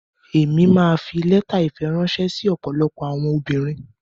Emi ma fi lẹta ìfẹ ránṣẹ sí ọ̀pọ̀lọpọ̀ àwọn obìnrin.